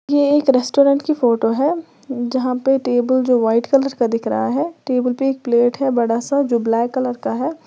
ये एक रेस्टोरेंट की फोटो है जहां पे टेबुल जो वाइट कलर का दिख रहा है टेबुल पे एक प्लेट है बड़ा सा जो ब्लैक कलर का है।